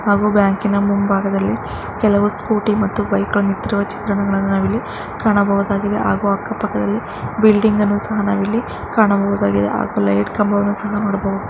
ಹಾಗೂ ಬ್ಯಾಂಕಿನ ಮುಂಭಾಗದಲ್ಲಿ ಕೆಲವು ಸ್ಕೂಟಿ ಮತ್ತು ಬೈಕ್ ಗಳು ನಿಂತಿರುವ ಚಿತ್ರಣವನ್ನು ಕಾಣಬಹುದಾಗಿದೆ ಹಾಗೂ ಅಕ್ಕ ಪಕ್ಕದಲ್ಲಿ ಬಿಲ್ಡಿಂಗ್ ಅನ್ನು ಸಹ ನಾವಿಲ್ಲಿ ಕಾಣಬಹುದಾಗಿದೆ ಹಾಗು ಲೈಟ್ ಕಂಬವನ್ನು ಸಹ ನೋಡಬಹುದು.